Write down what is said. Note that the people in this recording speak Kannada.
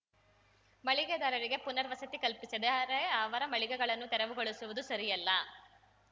ಮಳಿಗೆದಾರರಿಗೆ ಪುನವರ್ಸತಿ ಕಲ್ಪಿಸದೆ ಅರೆ ಅವರ ಮಳಿಗೆಗಳನ್ನು ತೆರವುಗೊಳಿಸುವುದು ಸರಿಯಲ್ಲ